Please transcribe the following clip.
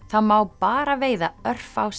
það má bara veiða örfá